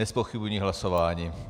Nezpochybňuji hlasování.